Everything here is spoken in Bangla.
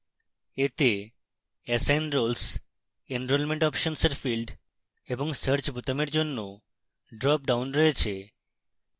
এতে assign roles enrolment options এর fields এবং search বোতামের জন্য dropdown রয়েছে